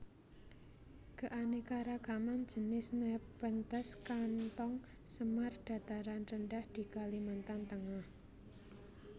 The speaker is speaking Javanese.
Keanekaragaman jinis Nepenthes kantong semar dataran rendah di Kalimantan Tengah